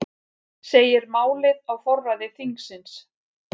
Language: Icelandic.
Segir málið á forræði þingsins